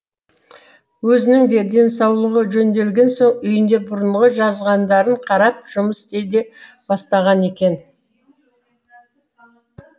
өзінің де денсаулығы жөнделген соң үйінде бұрынғы жазғандарын қарап жұмыс істей де бастаған екен